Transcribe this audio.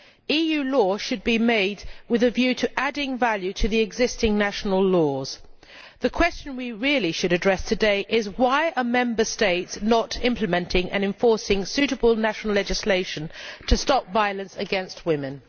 EU law should be made with a view to adding value to existing national laws. The question we really should address today is why Member States are not implementing and enforcing suitable national legislation to stop violence against women.